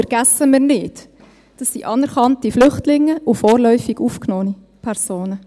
Vergessen wir nicht, das sind anerkannte Flüchtlinge und vorläufig aufgenommene Personen.